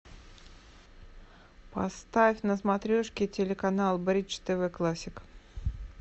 поставь на смотрешке телеканал бридж тв классик